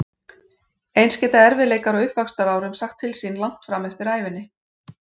Eins geta erfiðleikar á uppvaxtarárum sagt til sín langt fram eftir ævinni.